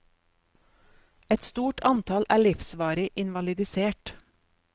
Et stort antall er livsvarig invalidisert.